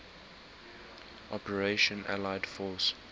operation allied force